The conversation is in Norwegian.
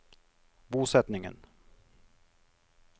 bosetningen